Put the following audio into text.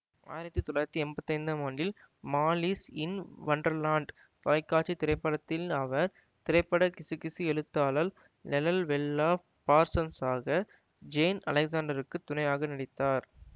ஆயிரத்தி தொள்ளாயிரத்தி எம்பத்தி ஐந்தாம் ஆண்டில் மாலிஸ் இன் வண்டர்லாண்ட் தொலைக்காட்சி திரைப்படத்தில் அவர் திரைப்பட கிசுகிசு எழுத்தாளல் லெலல்வெல்லா பார்சன்ஸ்ஸாக ஜேன் அலெக்சாண்டருக்கு துணையாக நடித்தார்